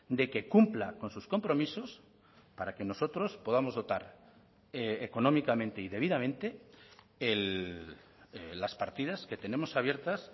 de que cumpla con sus compromisos para que nosotros podamos dotar económicamente y debidamente las partidas que tenemos abiertas